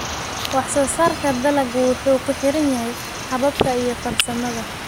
Wax soo saarka dalaggu wuxuu ku xiran yahay hababka iyo farsamada.